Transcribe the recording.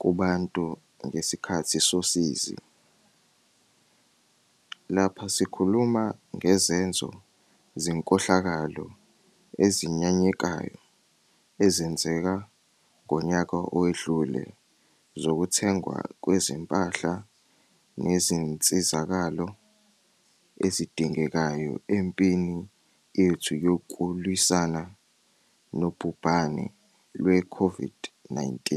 kubantu ngesikhathi sosizi. Lapha sikhuluma ngezenzo zenkohlakalo ezinyanyekayo ezenzeka ngonyaka owedlule zokuthengwa kwezimpahla nezinsizakalo ezidingekayo empini yethu yokulwisana nobhubhane lwe-COVID-19.